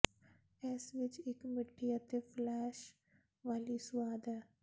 ਇਸ ਵਿਚ ਇਕ ਮਿੱਠੀ ਅਤੇ ਫਲੈਸ਼ ਵਾਲੀ ਸੁਆਦ ਹੈ